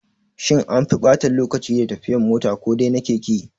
Shin anfi ɓata lokaci da tafiyan mota ko dai na keke?